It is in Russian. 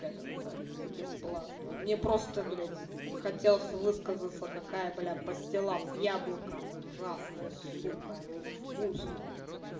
скажем так бесплатно мне просто блядь хотелось высказаться какая блядь пастила с яблоком ужасная сука она невкусная